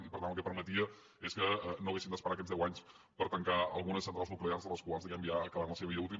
i per tant el que permetia és que no haguéssim d’esperar aquests deu anys per tancar algunes centrals nuclears les quals diguemne ja acabaran la seva vida útil